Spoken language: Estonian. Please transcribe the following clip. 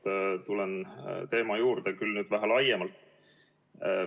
Veel kord tulen eelmise teema juurde, nüüd küll vähe laiemalt.